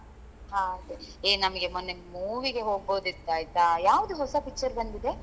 ಹಾಗೆ ಏ ನಮಿಗೆ ಮೊನ್ನೆ movie ಗೆ ಹೋಗ್ಬೋದಿತ್ತಾಯ್ತಾ ಯಾವ್ದು ಹೊಸ picture ಬಂದಿದೆ?